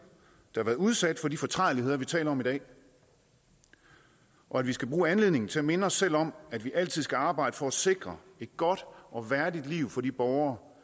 der har været udsat for de fortrædeligheder vi taler om i dag og at vi skal bruge anledningen til at minde os selv om at vi altid skal arbejde for at sikre et godt og værdigt liv for de borgere